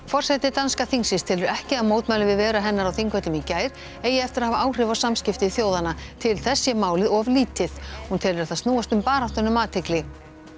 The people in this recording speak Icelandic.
forseti danska þingsins telur ekki að mótmæli við veru hennar á Þingvöllum í gær eigi eftir að hafa áhrif á samskipti þjóðanna til þess sé málið of lítið hún telur það snúast um baráttuna um athygli